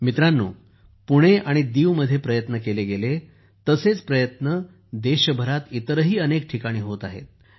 मित्रांनो त्यांनी पुणे आणि दीवमध्ये केले तसे प्रयत्न देशभरात इतरही अनेक ठिकाणी होत आहेत